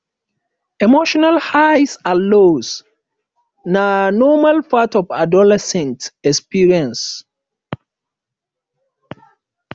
emotional highs and lows na normal part of adolescent experience